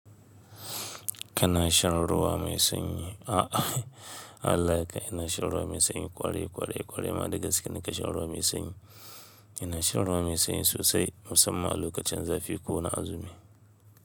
Kana shan ruwa mai sanyi. A Allah kai! Ina shan ruwa mai sanyi kwarai, kwarai, kwarai ma da gaske nake shan ruwa mai sanyi. Ina shan ruwa mai sanyi sosai musamman a lokacin zafi ko na azumi.